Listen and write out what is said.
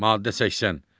Maddə 80.